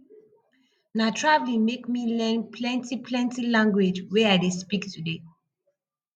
na traveling make me learn plentyplenty language wey i dey speak today